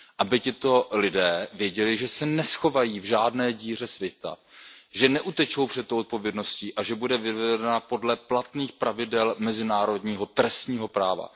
Aby tito lidé věděli, že se neschovají v žádné díře světa, že neutečou před tou zodpovědností a že bude vyvozena podle platných pravidel mezinárodního trestního práva.